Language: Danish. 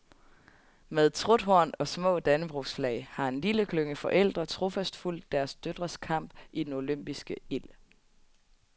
Med truthorn og små dannebrogsflag har en lille klynge forældre trofast fulgt deres døtres kamp i den olympiske ild.